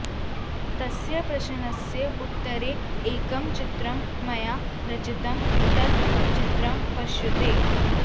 तस्य प्रश्नस्य उत्तरे एकं चित्रम् मया रचितम् तत् चित्रं पश्यतु